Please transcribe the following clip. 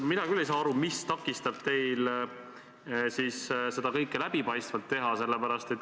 Mina küll ei saa aru, mis takistab teil seda kõike läbipaistvalt teha.